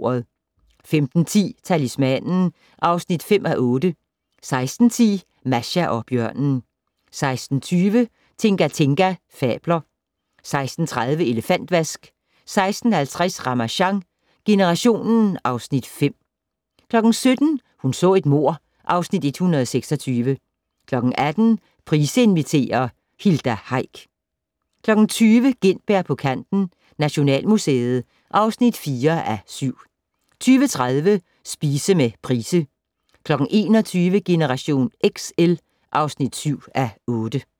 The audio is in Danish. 15:10: Talismanen (5:8) 16:10: Masha og bjørnen 16:20: Tinga Tinga fabler 16:30: Elefantvask 16:50: Ramasjang generationen (Afs. 5) 17:00: Hun så et mord (Afs. 126) 18:00: Price inviterer - Hilda Heick 20:00: Gintberg på kanten - Nationalmuseet (4:7) 20:30: Spise med Price 21:00: Generation XL (7:8)